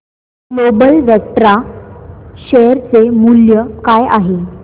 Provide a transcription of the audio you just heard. global Vectra share चे मूल्य काय असेल